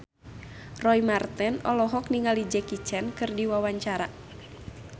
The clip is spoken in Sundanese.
Roy Marten olohok ningali Jackie Chan keur diwawancara